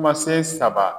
Kumasen saba